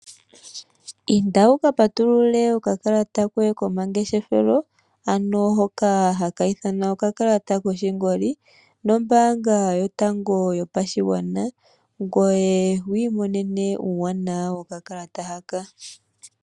Inda wu ka patulule okakalata koye komangeshefelo, ano hoka haka ithanwa okakalata koshingoli nombaanga yotango yopashigwana ngoye wu imonene uuwanwa wokakalata haka.